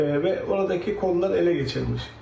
E, və oradakı kollar ələ keçirilmiş.